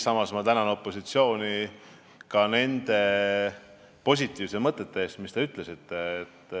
Samas tänan ma opositsiooni nende positiivsete mõtete eest, mis te ütlesite.